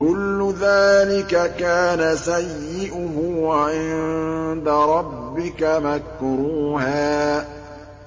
كُلُّ ذَٰلِكَ كَانَ سَيِّئُهُ عِندَ رَبِّكَ مَكْرُوهًا